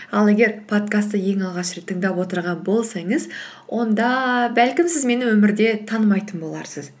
ал егер подкастты ең алғаш рет тыңдап отырған болсаңыз онда бәлкім сіз мені өмірде танымайтын боларсыз